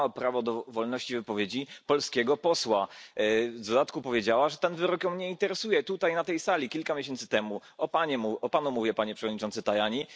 Złamała prawo do wolności wypowiedzi polskiego posła, w dodatku powiedziała, że ten wyrok jej nie interesuje, tutaj na tej sali kilka miesięcy temu o Panu mówię Panie Przewodniczący Tajani.